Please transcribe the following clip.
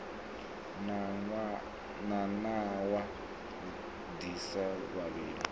na nawa ḓi sa vhavhi